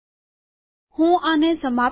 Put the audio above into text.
હું આને સમાપ્ત કરું